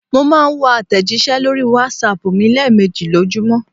Mò n máa n wo àtẹ̀jísẹ́ lórí Wásaàpù mi léèmejì lójúmọ̀